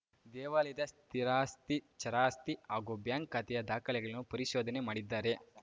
ದೇವಾಲಯದ ಸ್ಥಿರಾಸ್ತಿ ಚರಾಸ್ತಿ ಹಾಗೂ ಬ್ಯಾಂಕ್‌ ಖಾತೆಯ ದಾಖಲೆಗಳನ್ನು ಪರಿಶೋಧನೆ ಮಾಡಿದ್ದಾರೆ